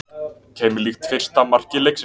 Keimlíkt fyrsta marki leiksins